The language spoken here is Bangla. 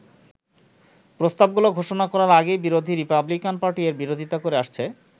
প্রস্তাব গুলো ঘোষণা করার আগেই বিরোধী রিপাবলিকান পার্টি এর বিরোধিতা করে আসছে।